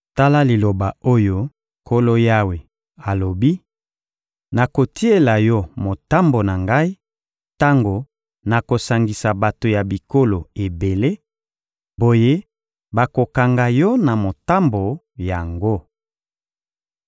Tala liloba oyo Nkolo Yawe alobi: Nakotiela yo motambo na Ngai tango nakosangisa bato ya bikolo ebele; boye bakokanga yo na motambo yango.